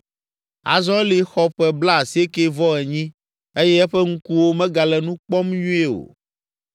Azɔ Eli xɔ ƒe blaasiekɛ-vɔ-enyi eye eƒe ŋkuwo megale nu kpɔm nyuie o.